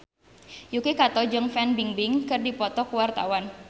Yuki Kato jeung Fan Bingbing keur dipoto ku wartawan